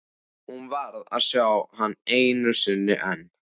Hún varð að sjá hann einu sinni enn.